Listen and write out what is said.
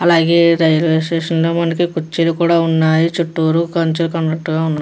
అలాగే railway station లో మనకి కుర్చీలు కూడ ఉన్నాయి చుట్టూరు కంచె ఉన్నటుగా --